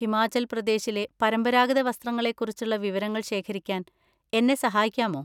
ഹിമാചൽപ്രദേശിലെ പരമ്പരാഗത വസ്ത്രങ്ങളെക്കുറിച്ചുള്ള വിവരങ്ങൾ ശേഖരിക്കാൻ എന്നെ സഹായിക്കാമോ?